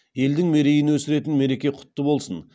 елдің мерейін өсіретін мереке құтты болсын